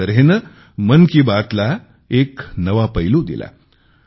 एका तऱ्हेने मन की बात ला एक नवा पैलू दिला